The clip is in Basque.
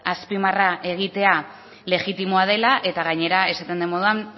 azpimarra egitea legitimoa dela eta gainera esaten den moduan